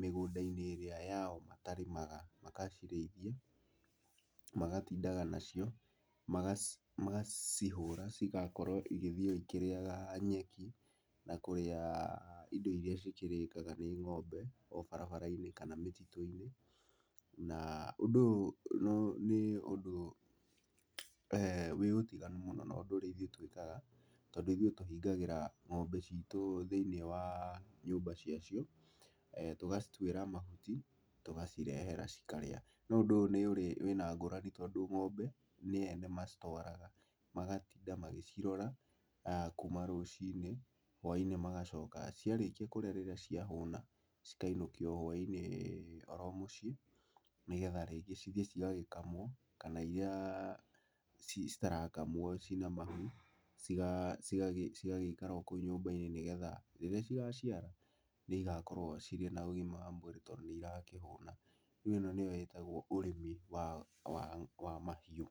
mĩgũnda-inĩ ĩrĩa yao matarĩmaga, magacirĩithie, magatindaga nacio, magacihũra cigakorwo igĩthiĩ o ikĩrĩaga nyeki na kũrĩa indo irĩa cikĩrĩkaga nĩ ng'ombe o barabara-inĩ kana mĩtitũ-inĩ. Na ũndũ ũyũ nĩ ũndũ wĩ ũtiganu mũno na ũndũ ũrĩa ithuĩ twĩkaga, tondũ ithuĩ tũhingagĩra ng'ombe citũ thĩinĩ wa nyũmba ciacio, tũgacituĩra mahuti, tũgacirehera cikarĩa. No ũndũ ũyũ nĩ ũrĩ wĩna ngũrani tondũ ng'ombe nĩ ene macitwaraga magatinda magĩcirora kuuma rũcinĩ, hwai-inĩ magacoka. Ciarĩkia kũrĩa rĩrĩa ciahũna cikainũkio hwai-inĩ oro mũciĩ nĩgetha rĩngĩ cithiĩ cigagĩkamwo kana irĩa citarakamwo cina mahu cigagĩikara o kũu nyũmba-inĩ, nĩgetha rĩrĩa cigaciara nĩ igakorwo cirĩ na ũgima mwega wa mwĩrĩ tondũ nĩ irakĩhũna. Rĩu ĩno nĩyo ĩtagwo ũrĩmi wa, wa mahiũ.